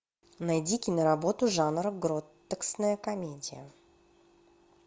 найди киноработу жанра гротескная комедия